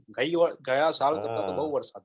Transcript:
ગયી વર ગયા સાલ કરતા બહુ વરસાદ છે